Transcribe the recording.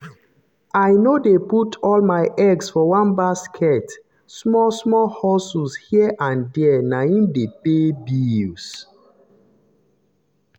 i no dey put all my eggs for one basket small-small hustle here and there na im dey pay bills.